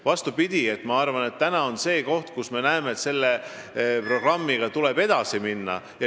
Vastupidi, ma arvan, et praegu on see koht, kus me näeme, et selle programmiga tuleb edasi minna.